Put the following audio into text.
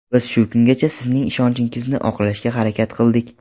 Biz shu kungacha sizning ishonchingizni oqlashga harakat qildik.